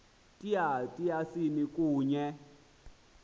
tya tyasini kunye